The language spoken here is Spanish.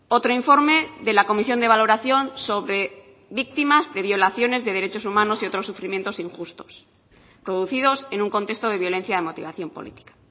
otro informe de la comisión de valoración sobre víctimas de violaciones de derechos humanos y otros sufrimientos injustos producidos en un contexto de violencia de motivación política